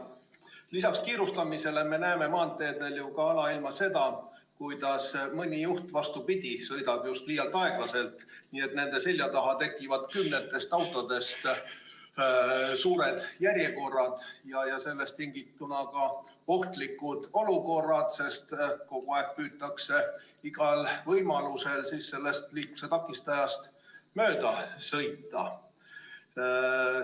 Lisaks kiirustamisele me näeme maanteedel alailma seda, kuidas mõni juht, vastupidi, sõidab liialt aeglaselt, nii et tema selja taha tekib kümnetest autodest suur järjekord ja sellest tingituna tekivad ohtlikud olukorrad, sest kogu aeg püütakse igal võimalusel sellest liikluse takistajast mööda sõita.